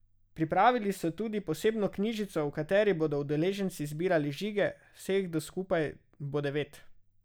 Pripravili so tudi posebno knjižico, v kateri bodo udeleženci zbirali žige, vseh skupaj bo devet.